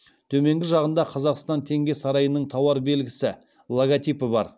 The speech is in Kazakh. төменгі жағында қазақстан теңге сарайының тауар белгісі бар